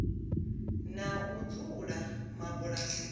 na u dzula mabulasini lu